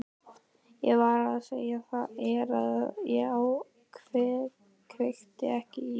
Ég var að segja þér að ég kveikti ekki í.